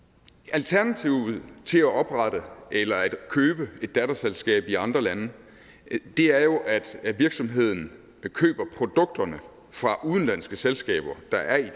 alternativet til at oprette eller købe et datterselskab i andre lande er jo at virksomheden køber produkterne fra udenlandske selskaber der er i